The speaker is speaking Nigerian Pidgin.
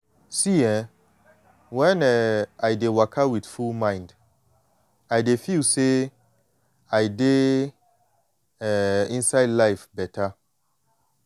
see eh when um i dey waka with full mind i de feel say i dey um inside life beta.